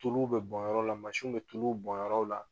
Tuluw bɛ bɔn yɔrɔw la mansinw bɛ tuluw bɔn yɔrɔw la